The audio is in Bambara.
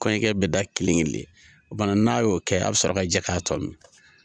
Kɔɲɔkɛ bɛ da kilen in le o kumana n'a y'o kɛ a bɛ sɔrɔ ka jɛ k'a tɔ min.